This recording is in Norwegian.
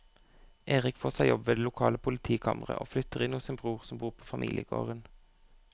Erik får seg jobb ved det lokale politikammeret og flytter inn hos sin bror som bor på familiegården.